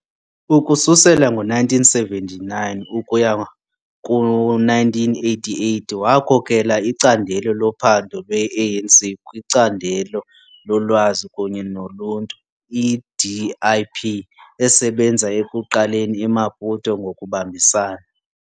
Ukususela ngo-1979 ukuya ku-1988 wakhokela icandelo lophando lwe-ANC kwiCandelo loLwazi kunye noluntu i-DIP, esebenza ekuqaleni eMaputo ngokubambisana.